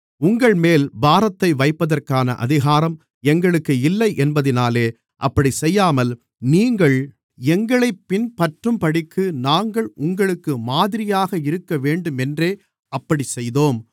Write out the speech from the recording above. உங்கள்மேல் பாரத்தை வைப்பதற்கான அதிகாரம் எங்களுக்கு இல்லையென்பதினாலே அப்படிச் செய்யாமல் நீங்கள் எங்களைப் பின்பற்றும்படிக்கு நாங்கள் உங்களுக்கு மாதிரியாக இருக்கவேண்டுமென்றே அப்படிச்செய்தோம்